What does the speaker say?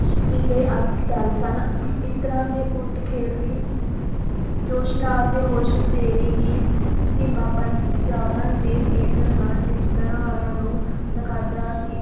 ਪਿੱਲੇ ਆਦਿ ਖਿਡਾਰੀ ਸਨ ਇਸ ਤਰ੍ਹਾਂ ਦੇ ਉਲਟ ਖੇਡ ਦੀ ਜੋਸ਼ ਨਾਲ ਤੇ ਹੋਸ਼ ਵਧੇਰੇ ਹੀ ਧੀਮਾਪਣ ਸੀ ਜ਼ਿਆਦਾ ਦੇਰ ਗੇਂਦ ਨਾਲ ਚਿਮਟਣ ਵਾਲਿਆਂ ਨੂੰ ਨਕਾਰਦਾ ਸੀ l